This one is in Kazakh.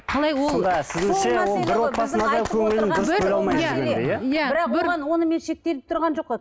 қалай ол бірақ оған онымен шектеліп тұрған жоқ қой